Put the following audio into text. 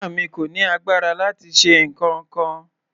Ìyá mi kò ní agbára láti ṣe nǹkankan.